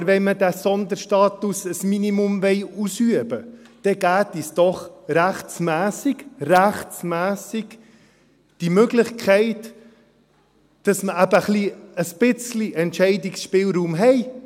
Aber wenn wir diesen Sonderstatus zu einem Minimum ausüben wollen, dann geben Sie uns doch rechtmässig –– die Möglichkeit, dass wir eben ein wenig Entscheidungsspielraum haben.